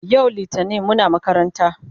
yau littani Muna makaranta